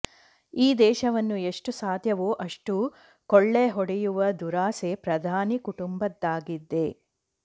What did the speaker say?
ಈ ದೇಶವನ್ನು ಎಷ್ಟು ಸಾಧ್ಯವೋ ಅಷ್ಟು ಕೊಳ್ಳೆ ಹೊಡೆಯುವ ದುರಾಸೆ ಪ್ರಧಾನಿ ಕುಟುಂಬದ್ದಾಗಿದೆ